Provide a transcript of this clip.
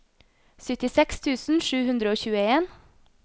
syttiseks tusen sju hundre og tjueen